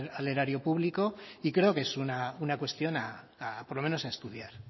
al erario público y creo que es una cuestión por lo menos a estudiar